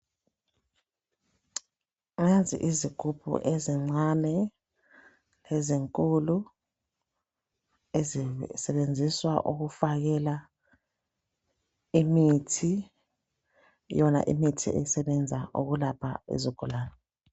Nanzi izigubhu ezincane lezinkulu .Ezisebenziswa ukufakela imithi .Yona imithi esebenza ukulapha izigulane .